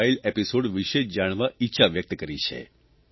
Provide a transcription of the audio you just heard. wild episode વિષે જાણવા ઇચ્છા વ્યકત કરી છે